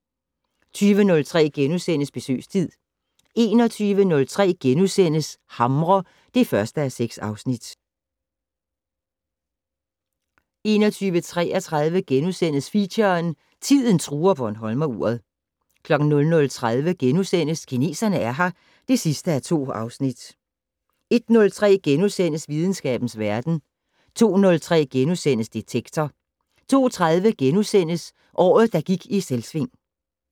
20:03: Besøgstid * 21:03: Hamre (1:6)* 21:33: Feature: Tiden truer bornholmeruret * 00:30: Kineserne er her (2:2)* 01:03: Videnskabens verden * 02:03: Detektor * 02:30: Året, der gik i Selvsving *